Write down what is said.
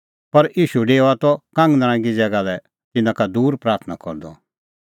पर ईशू डेओआ त कांगनरांगी ज़ैगा लै तिन्नां का दूर प्राथणां करदअ